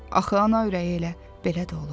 Axı ana ürəyi elə belə də olur.